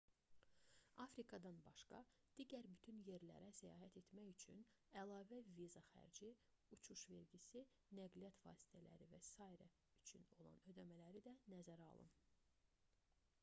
afrikadan başqa digər bütün yerlərə səyahət etmək üçün əlavə viza xərci uçuş vergisi nəqliyyat vasitələri və s üçün olan ödəmələri də nəzərə alın